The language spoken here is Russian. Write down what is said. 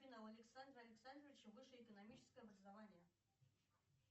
александра александровича высшее экономическое образование